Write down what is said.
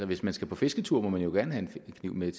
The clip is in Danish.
hvis man skal på fisketur må man jo gerne have en kniv med